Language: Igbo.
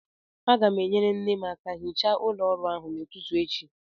Aga m enyere nne m aka hichaa ụlọ ọrụ ahụ n'ụtụtụ echi